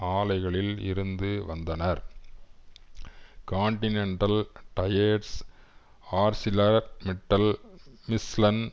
ஆலைகளில் இருந்து வந்தனர் கான்டினென்டல் டயர்ஸ் ஆர்ஸிலர்மிட்டல் மிஷ்லன்